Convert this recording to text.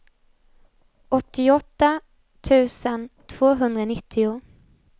åttioåtta tusen tvåhundranittio